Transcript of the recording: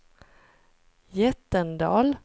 Jättendal